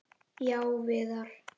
Já, Viðar.